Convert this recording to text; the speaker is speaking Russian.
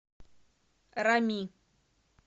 рами